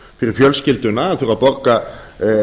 fyrir fjölskylduna þurfa að borga